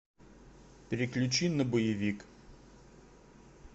переключи на боевик